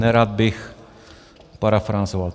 Nerad bych parafrázoval.